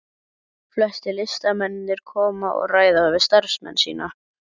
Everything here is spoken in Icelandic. Flestir listamennirnir koma og ræða við starfsmennina.